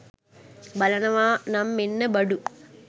බලනව නම් මෙන්න බඩු.